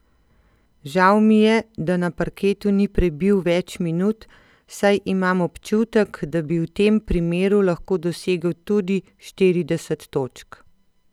Žal mi je, da na parketu ni prebil več minut, saj imam občutek, da bi v tem primeru lahko dosegel tudi štirideset točk.